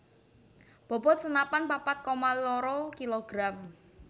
Bobot senapan papat koma loro kilogram